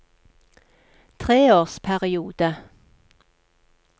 treårsperiode